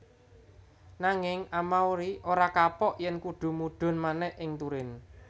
Nanging Amauri ora kapok yèn kudu mudhun manèh ing Turin